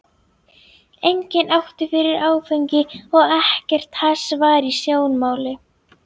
Enginn átti fyrir áfengi og ekkert hass var í sjónmáli.